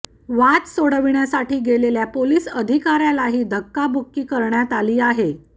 वाद सोडविण्यासाठी गेलेल्या पोलीस अधिकाऱ्यालाही धक्काबुक्की करण्यात आली आहे